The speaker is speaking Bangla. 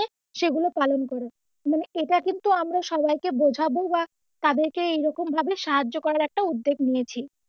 সেগুলো পালন করা, এটা কিন্তু আমরা সবাইকে বোঝাবো বা তাদেরকে এরকমভাবে সাহায্য করা একটা উদ্যোগ নিয়েছি,